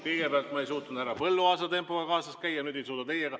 Kõigepealt ma ei suutnud härra Põlluaasa tempoga kaasas käia, nüüd ei suuda teiega.